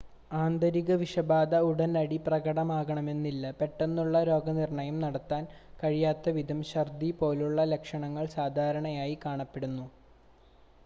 ആന്തരിക വിഷബാധ ഉടനടി പ്രകടമാകണമെന്നില്ല പെട്ടെന്നുള്ള രോഗനിർണ്ണയം നടത്താൻ കഴിയാത്തവിധം ഛർദ്ദി പോലുള്ള ലക്ഷണങ്ങൾ സാധാരണയായി കാണപ്പെടുന്നു